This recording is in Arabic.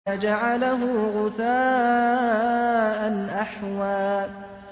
فَجَعَلَهُ غُثَاءً أَحْوَىٰ